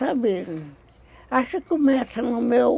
Sabe, acho que começa no meu...